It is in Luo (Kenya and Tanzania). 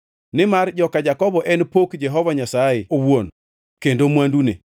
Nimar joka Jakobo en pok Jehova Nyasaye owuon kendo mwandune.